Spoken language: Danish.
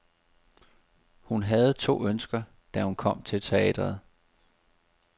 Hun havde to ønsker, da hun kom til teatret.